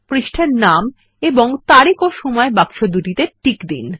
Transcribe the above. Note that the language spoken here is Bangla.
পৃষ্ঠার নাম এবং তারিখ এবং সময় বাক্স দুটিতে টিক দিন